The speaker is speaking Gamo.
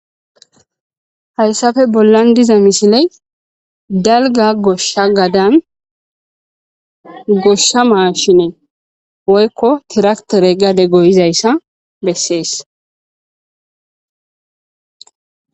Hayssafe bollan diza misiley dalga goshsha gadan goshsha maashinee woykko tiraktere gade goyizayssa bessees.